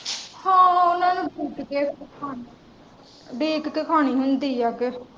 ਉਡੀਕ ਕੇ ਕਹਾਣੀ ਹੁੰਦੀ ਆ ਕੇ।